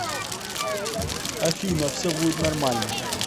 афина все будет нормально